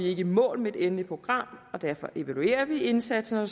ikke i mål med det endelige program og derfor evaluerer vi indsatsen og